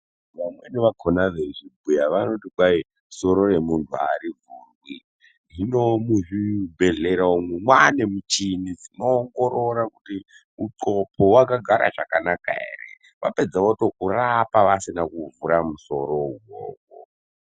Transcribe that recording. Vamweni vakhona veizvibhuya vanoti kwai soro remunhu arivhurwi,. Hino ,muzvibhedhlera umwo kwaaane muchini inoongorora kuti uxhopo wakagara zvakanaka ere vapedza vokurapa vasina kuvhura musoro uwowo.